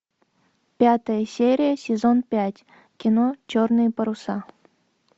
пятая серия сезон пять кино черные паруса